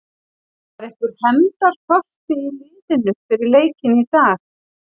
Var einhver hefndarþorsti í liðinu fyrir leikinn í dag?